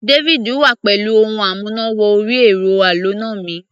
David wá pẹ̀lú ohun amúná-wọ-orí-ẹ̀rọ aloná mi